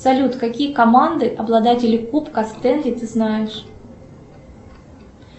салют какие команды обладатели кубка стэнли ты знаешь